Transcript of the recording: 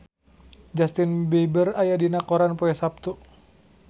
Justin Beiber aya dina koran poe Saptu